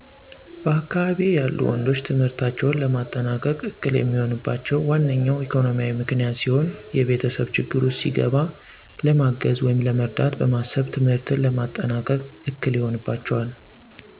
በአካባቢየ ያሉ ወንዶች ትምህርታቸውን ለማጠናቀቅ እክል የሚሆንባቸው ዋነኞው ኢኮኖሚያዊ ምክንያት ሲሆን የቤተሰብ ችግር ውስጥ ሲገባ ለማገዝ ወይም ለመርዳት በማሰብ ትምህርትን ለማጠናቀቅ እክል ይሆንባቸዋል።